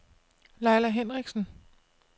Leila Henrichsen